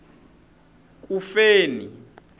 kufeni